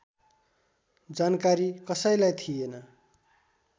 जानकारी कसैलाई थिएन